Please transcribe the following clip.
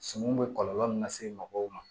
Suman bɛ kɔlɔlɔ min lase mɔgɔw ma